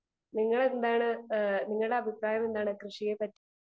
speaker 2 നിങ്ങൾ എന്താണ് നിങ്ങളുടെ അഭിപ്രായം എന്താണ് കൃഷിയെപ്പറ്റി